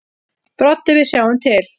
Broddi: Við sjáum til.